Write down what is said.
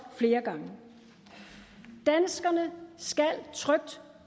flere gange danskerne skal trygt